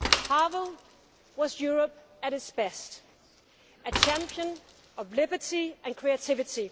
Havel was Europe at its best a champion of liberty and creativity